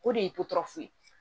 O de ye toturafu ye